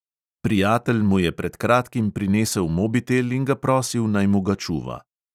Prijatelj mu je pred kratkim prinesel mobitel in ga prosil, naj mu ga čuva.